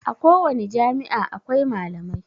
A kowani jami'a akwai malamai